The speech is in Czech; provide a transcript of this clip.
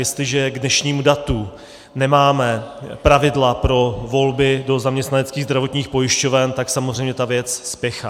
Jestliže k dnešnímu datu nemáme pravidla pro volby do zaměstnaneckých zdravotních pojišťoven, tak samozřejmě ta věc spěchá.